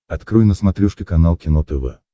открой на смотрешке канал кино тв